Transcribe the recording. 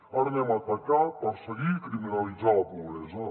ara anem a atacar perseguir i criminalitzar la pobresa